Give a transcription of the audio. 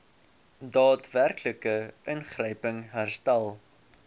daadwerklike ingryping herstel